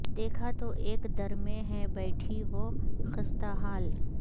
دیکھا تو ایک در میں ہے بیٹھی وہ خستہ حال